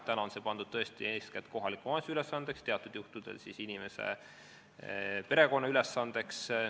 Täna on see pandud tõesti eeskätt kohaliku omavalitsuse ülesandeks, teatud juhtudel ka inimese perekonna ülesandeks.